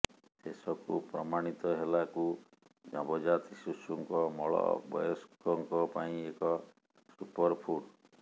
ଶେଷକୁ ପ୍ରମାଣିତ ହେଲାକୁ ନବଜାତ ଶିଶୁଙ୍କ ମଳ ବୟସ୍କଙ୍କ ପାଇଁ ଏକ ସୁପରଫୁଡ଼